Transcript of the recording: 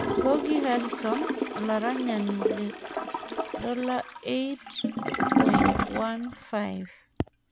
gorgi Harison olaranyani $8.15